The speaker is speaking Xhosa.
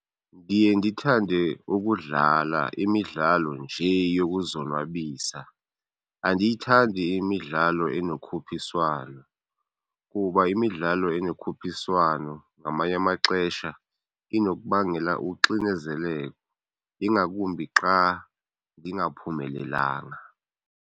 Ndiye ndithande ukudlala imidlalo nje yokuzonwabisa. Andiyithandi imidlalo enokhuphiswano kuba imidlalo enokhuphiswano ngamanye amaxesha inokubangela uxinezelelo, ingakumbi xa ndingaphumelelanga.